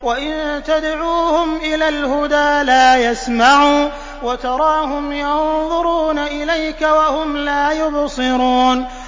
وَإِن تَدْعُوهُمْ إِلَى الْهُدَىٰ لَا يَسْمَعُوا ۖ وَتَرَاهُمْ يَنظُرُونَ إِلَيْكَ وَهُمْ لَا يُبْصِرُونَ